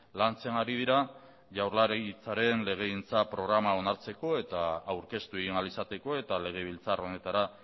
lantzen ari dira jaurlaritzaren legegintza programa onartzeko eta aurkeztu egin ahal izateko eta legebiltzar honetara